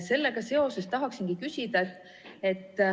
Sellega seoses tahaksingi küsida.